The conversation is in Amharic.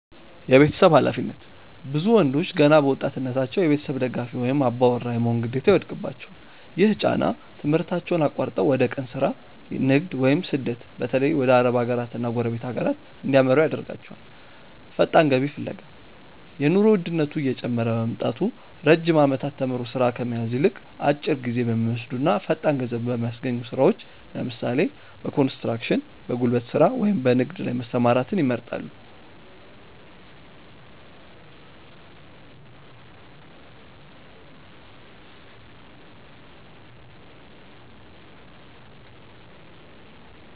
የቤተሰብ ኃላፊነት፦ ብዙ ወንዶች ገና በወጣትነታቸው የቤተሰብ ደጋፊ ወይም "አባወራ" የመሆን ግዴታ ይወድቅባቸዋል። ይህ ጫና ትምህርታቸውን አቋርጠው ወደ የቀን ሥራ፣ ንግድ ወይም ስደት (በተለይ ወደ አረብ ሀገራትና ጎረቤት ሀገራት) እንዲያመሩ ያደርጋቸዋል። ፈጣን ገቢ ፍለጋ፦ የኑሮ ውድነቱ እየጨመረ በመምጣቱ፣ ረጅም ዓመታት ተምሮ ሥራ ከመያዝ ይልቅ፣ አጭር ጊዜ በሚወስዱና ፈጣን ገንዘብ በሚያስገኙ ሥራዎች (ለምሳሌ፦ በኮንስትራክሽን፣ በጉልበት ሥራ ወይም በንግድ) ላይ መሰማራትን ይመርጣሉ።